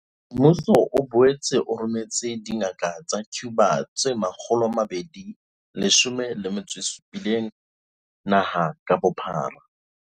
Mmuso o boetse o rometse dingaka tsa Cuba tse 217 naha ka bophara.